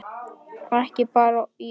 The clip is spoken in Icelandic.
Og ekki bara í orði.